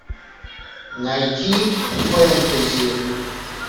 найти фэнтези